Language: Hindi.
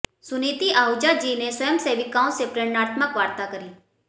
सुनीति आहूजा जी ने स्वयंसेविकाओं से प्रेरणात्मक वार्ता करी